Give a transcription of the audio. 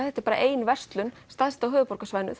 þetta er bara ein verslun sem stærst á höfuðborgarsvæðinu